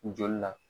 Joli la